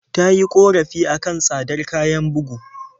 Ta yi ƙorafi a kan tsadar kayan bugu.